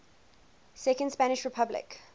second spanish republic